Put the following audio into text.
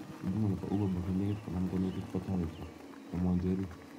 Huduma nebo Uberboat ne nekit konam konekit kotoreti,' kamwa njeri.